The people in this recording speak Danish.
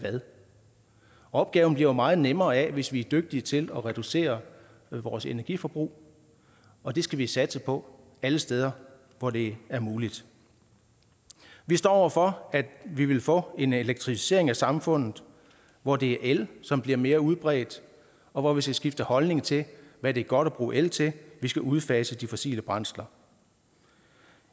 opgaven bliver jo meget nemmere hvis vi er dygtige til at reducere vores energiforbrug og det skal vi satse på alle steder hvor det er muligt vi står over for at vi vil få en elektrificering af samfundet hvor det er el som bliver mere udbredt og hvor vi skal skifte holdning til hvad det er godt at bruge el til vi skal udfase de fossile brændsler